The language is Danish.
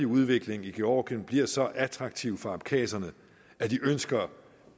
udvikling i georgien bliver så attraktiv for abkhaserne at de ønsker